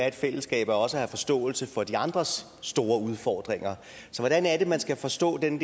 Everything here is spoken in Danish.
et fællesskab er også at have forståelse for de andres store udfordringer så hvordan er det man skal forstå den